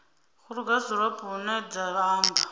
krugersdorp hu ne ha amba